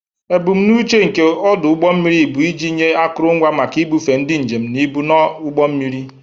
Ebumnuche nke ọdụ ụgbọ mmiri bụ iji nye akụrụngwa maka ibufe ndị njem na ibu na ụgbọ mmiri.